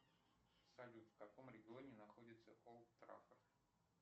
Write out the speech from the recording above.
салют в каком регионе находится олд траффорд